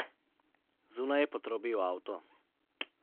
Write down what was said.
Zunaj je potrobil avto.